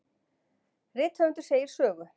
Rithöfundur segir sögu.